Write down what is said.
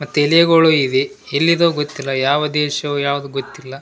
ಮತ್ತೆ ಎಲೆಗಳು ಇವೆ ಎಲ್ಲಿದೊ ಗೊತ್ತಿಲ್ಲ ಯಾವ ದೇಶವೋ ಯಾವ್ದು ಗೊತ್ತಿಲ್ಲ.